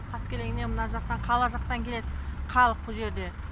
қаскелеңнен мына жақтан қала жақтан келеді халық бұл жерде